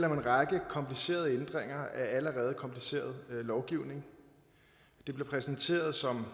om en række komplicerede ændringer af allerede kompliceret lovgivning det bliver præsenteret som